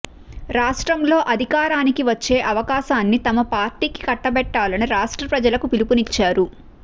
రాష్ట్రంలో అధికారానికి వచ్చే అవకాశాన్ని తమ పార్టీకి కట్టబెట్టాలని రాష్ట్ర ప్రజలకు పిలుపునిచ్చారు